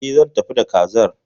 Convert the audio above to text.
E, zan tafi da Kazar.